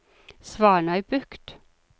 Svanøybukt